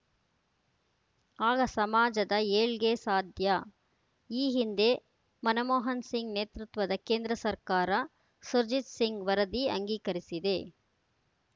ಆಗ ಸಮಾಜದ ಏಳ್ಗೆ ಸಾಧ್ಯ ಈ ಹಿಂದೆ ಮನಮೋಹನ್‌ ಸಿಂಗ್‌ ನೇತೃತ್ವದ ಕೇಂದ್ರ ಸರ್ಕಾರ ಸುರ್ಜಿತ್‌ ಸಿಂಗ್‌ ವರದಿ ಅಂಗೀಕರಿಸಿದೆ